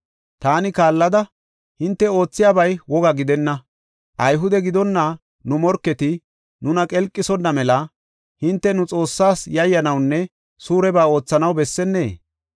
Taani kaallada, “Hinte oothiyabay woga gidenna; Ayhude gidonna nu morketi nuna qelqisonna mela hinte nu Xoossaas yayyanawunne suureba oothanaw bessennee?